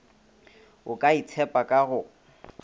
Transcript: o ka itshepa ka go